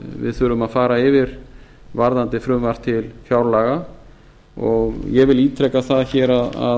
við þurfum að fara yfir varðandi frumvarp til fjárlaga og ég vil ítreka það hér að